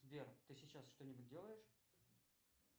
сбер ты сейчас что нибудь делаешь